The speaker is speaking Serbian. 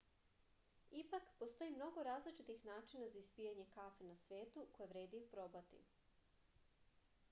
ipak postoji mnogo različitih načina za ispijanje kafe na svetu koje vredi oprobati